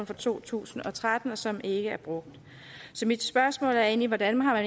for to tusind og tretten og som ikke er brugt så mit spørgsmål er egentlig hvordan har